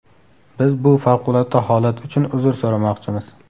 Biz bu favqulodda holat uchun uzr so‘ramoqchimiz”.